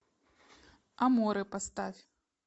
аморе поставь